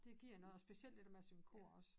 Det giver noget og specielt det dér med at synge kor også